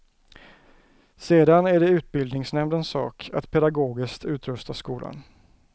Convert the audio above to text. Sedan är det utbildningsnämndens sak att pedagogiskt utrusta skolan.